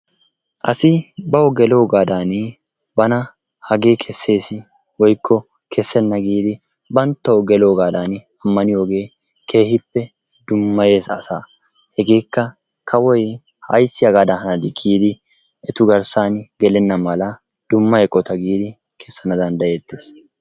Asi bawu geeloogadan bana hagee kessees woykko kessena giidi banttawu geloogadan ammaniyooge keehippe dummayyees asaa. Hegekka kawoy ayssi hagadan hani giidi etu garssana dumma eqqota giidi kessana danddayeetees.